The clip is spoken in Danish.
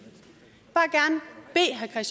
jeg